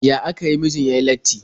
Ya aka yi mijin ya yi latti?